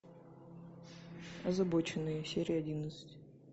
озабоченные серия одиннадцать